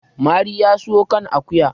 mari ya siyo kan akuya